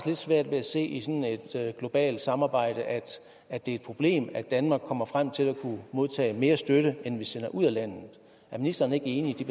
svært ved at se i sådan et globalt samarbejde at at det er et problem at danmark kommer frem til at kunne modtage mere støtte end den vi sender ud af landet er ministeren ikke enig i